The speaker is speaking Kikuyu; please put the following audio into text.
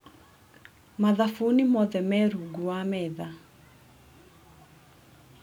Mathabuni mothe me rungu wa metha.